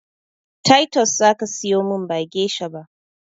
Taitos zaka siyomin ba gesha ba